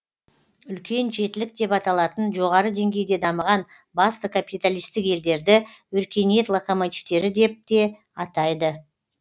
үлкен жетілік деп аталатын жоғары деңгейде дамыған басты капиталистік елдерді өркениет локомативтері деп те атайды